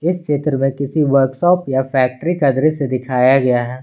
इस चित्र में किसी वर्कशॉप या फैक्ट्री का दृश्य दिखाया गया है।